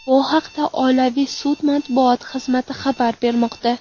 Bu haqda Oliy sud matbuot xizmati xabar bermoqda .